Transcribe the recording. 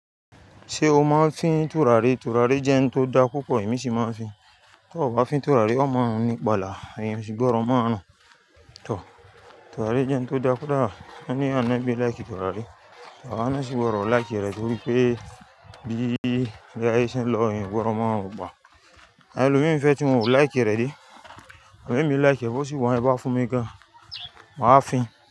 Ṣé o máa ń fín turari? Turari jẹ́ oun tó daa púpọ̀, èmi sì máa ń fín. Tó o kò bá fín turari, oo mọ run ní pala, èèyàn o sì gbọ́rọ̀ mọ́o run tọ̀. Turari jẹ́ un tó da kódà wọ́n ní ànábí i lìke turari. Àwa náa sì gbọ́rọ̀ láìkí rẹ̀ nítorí pé bí ìle aye ṣe ń lọ, èèyàn o gbọ́dọ̀ moọ́ run pa. Elọ́ mìí n fẹ́ tí win ò láìkí rẹ̀ dé. Àmọn ẹ̀mí láì kí rẹ̀ bó se wa yen bẹ bá fún mi gan, màá fín.